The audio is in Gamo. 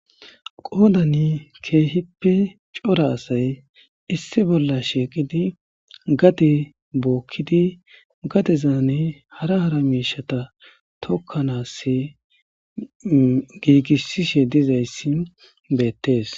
Qodani keehippe cora asayi issi bolla shiiqid gade bookid gadezan hara hara miishata tokanasi giigisishe dizays betes.